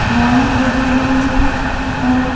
स्नान कर रहे हैं और--